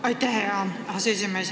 Aitäh, hea aseesimees!